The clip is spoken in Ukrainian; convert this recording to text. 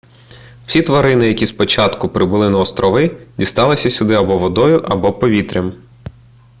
всі тварини які спочатку прибули на острови дісталися сюди або водою або повітрям